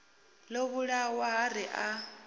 ḓo vhulawa ha ri a